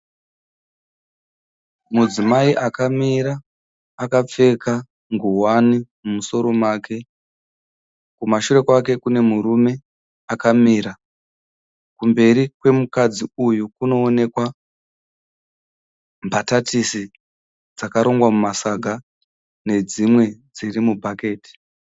Mudzimai akamira akapfeka ngowani mumusoro make. Kumashure kwake kune murume akamira. kumberi kwemukadzi uyu kunooneka mbatatisi dzakarongwa mumasaga nedzimwe dziri mu bhaketi.